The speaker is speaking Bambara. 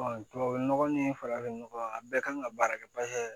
tubabu nɔgɔ ni farafin nɔgɔ a bɛɛ kan ka baara kɛ